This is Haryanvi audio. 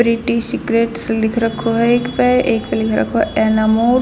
सिक्योरिटी सीक्रेट्स लिख रखो ह एक पएक प लिख रखो ह एनामोल.